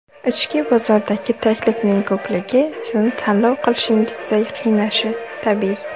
Ichki bozordagi taklifning ko‘pligi sizni tanlov qilishingizda qiynashi tabiiy.